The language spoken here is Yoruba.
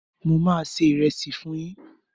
Mo máa ṣe ìrẹsì fún yín